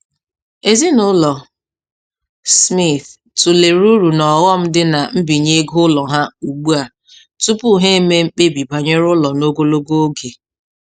Ezinụlọ Smith tụlere uru na ọghọm dị na nbinye ego ụlọ ha ugbu a tupu ha eme mkpebi banyere ụlọ n'ogologo oge.